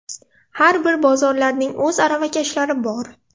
Har bir bozorlarning o‘z aravakashlari bor.